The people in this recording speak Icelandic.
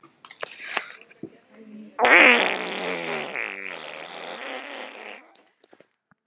Lillý: Hvað var, er pabbi þinn orðinn núna?